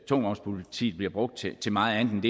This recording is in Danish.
tungvognspolitiet bliver brugt til til meget andet